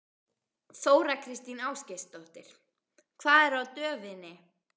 Þóra Kristín Ásgeirsdóttir: Hvað er á döfinni?